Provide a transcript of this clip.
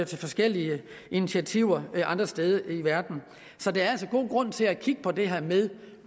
til forskellige initiativer andre steder i verden så der er altså god grund til at kigge på det her med